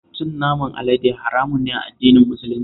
Cin naman alade haramun ne a addinin Musulunci